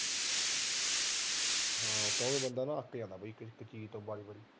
ਹਾਂ ਉਹ ਬੰਦਾ ਅੱਕ ਜਾਂਦਾ ਬਾਈ ਕਿਸੀ ਚੀਜ ਤੋਂ ਬਾਹਲੀ